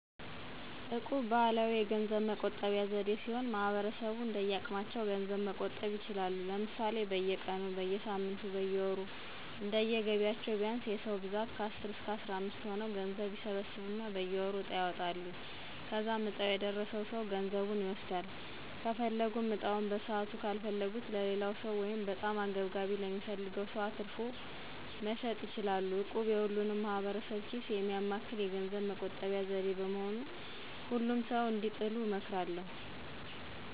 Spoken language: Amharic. እቁብ ባህላዊ የገንዘብ መቆጠቢያ ዘዴ ሲሆን ማህበረሰቡ እንደየአቅማቸው ገንዘብ መቆጠብ ይችላሉ። ለምሳሌ፦ በየቀኑ, በየሳምንቱ ,በየወሩ እንደየገቢያቸው ቢያንስ የ ሰዉ ብዛት ከአስር እስከ አስራምስት ሆነው ገንዘብ ይሰበስቡና በየወሩ ዕጣ ያወጣሉ. ከዛም ዕጣው የደረሰው ሰው ገንዘቡን ይወስዳል .ከፈለጉም ዕጣውን በሰዓቱ ካልፈለጉት ለሌላው ሰው(በጣም አንገብጋቢ ለሚፈልግ ሰው)አትርፎ መሸጥ ይችላሉ። እቁብ የሁሉንም ማህበረሰብ ኪስ የሚያማክል የገንዘብ መቆጠቢያ ዘዴ በመሆኑ ሁሉም ሰዉ እንዲጥሉ እመክራለሁ።